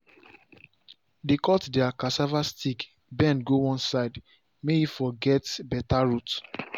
dey cut their cassava stick bend go one side may e for get better root